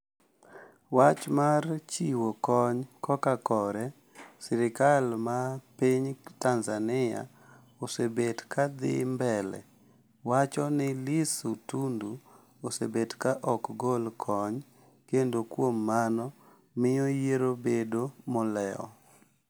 wach mar chiwo kony koka kore sirikal ma piny Tanzania osebet ka dhi mbele wacho ni Lissu Tundu osebet ka ok gol kony kendo kuom mano miyo yiero bedo molewo